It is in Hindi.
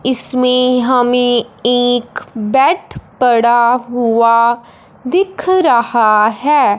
इसमें हमें एक बेड पड़ा हुआ दिख रहा है।